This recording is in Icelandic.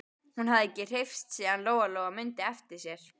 Hún hafði ekki hreyfst síðan Lóa-Lóa mundi eftir sér.